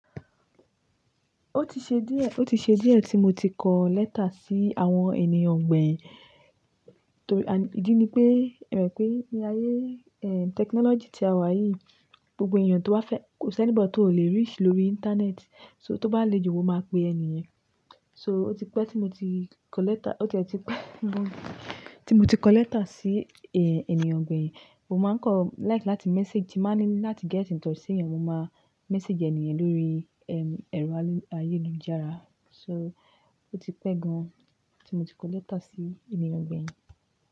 Ó ti ṣe díẹ̀, ó ti ṣe díẹ̀ tí mo ti kọ lẹ́tà sí àwọn ènìyàn gbẹ̀yìn. Torí ìdí ni pé, e mo pé ní ileayé, eh, technology tí a wà yìí, gbogbo ènìyàn tó ba fẹ́, kò sí any body tó ò lè reach lórí internet. So tó bá le ju, mo máa pe ẹni yan. So ó ti pẹ́ tí mo ti kọ lẹ́tà, ó ti a ti pẹ́ gan tí mo ti kọ lẹ́tà sí, eh, ènìyàn gbẹ̀yìn. Mo máa ń kon like láti message, tin ń ba ní láti get in touch sí ènìyàn, mo máa message eniyen lórí, ehm, ẹ̀rọ ayélujára. So ó ti pẹ́ gan tí mo ti kọ lẹ́tà sí ènìyàn gbẹ̀yìn.